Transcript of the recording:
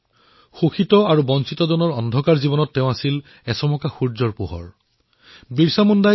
বঞ্চিত আৰু শোষিতৰ অন্ধকাৰ জীৱনলৈ তেওঁ সুৰুযৰ পোহৰ প্ৰদান কৰিছিল